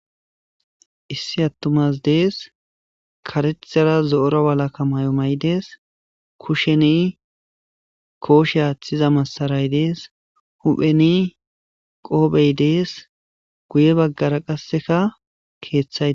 Issi atuma asi des karethara zo'ora walaka mayo ma'ides kusheni koshe atiza masaray des huphen qophe des guye bagara qaseka kethay.